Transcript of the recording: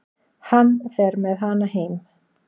Hann fer með hana heim.